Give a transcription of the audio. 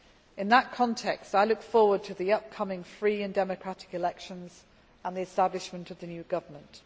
In that context I look forward to the upcoming free and democratic elections and the establishment of the new government.